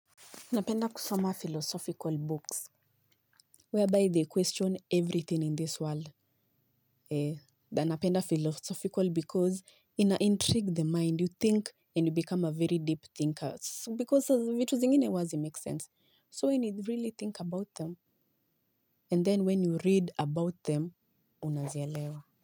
Napenda kusoma philosophical books whereby they question everything in this world na napenda philosophical because ina intrigue the mind, you think and you become a very deep thinker because vitu zingine huwa hazimake sense so when you really think about them and then when you read about them unazielewa.